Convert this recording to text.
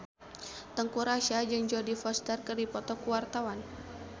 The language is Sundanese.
Teuku Rassya jeung Jodie Foster keur dipoto ku wartawan